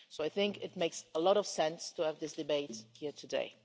So it makes a lot of sense to have this debate here today.